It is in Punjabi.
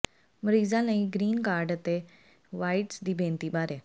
ਮਰੀਜ਼ਾਂ ਲਈ ਗ੍ਰੀਨ ਕਾਰਡ ਅਤੇ ਵ੍ਹਾਈਟਸ ਦੀ ਬੇਨਤੀ ਬਾਰੇ